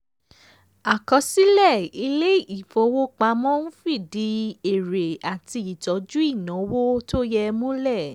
àkọsílẹ̀ ilé ìfowópamọ́ ń fìdí èrè àti ìtójú ìnáwó tó yẹ múlẹ̀.